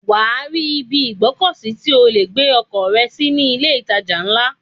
Wàá rí ibi ìgbọ́kọ̀ sí tí o lè gbé ọkọ̀ rẹ sí ní ilé ìtajà ńlá.